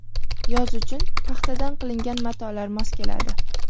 Yoz uchun paxtadan qilingan matolar mos keladi.